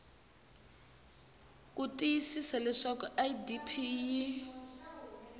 ku tiyisisa leswaku idp yi